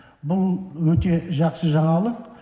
бұл өте жақсы жаңалық